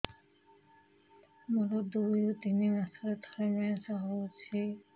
ମୋର ଦୁଇରୁ ତିନି ମାସରେ ଥରେ ମେନ୍ସ ହଉଚି